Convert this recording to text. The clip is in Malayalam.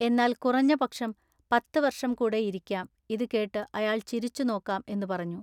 എന്നാൽ കുറഞ്ഞ പക്ഷം പത്ത വൎഷം കൂടെ ഇരിക്കാം ഇതു കേട്ടു അയാൾ ചിരിച്ചു നോക്കാം എന്നു പറഞ്ഞു.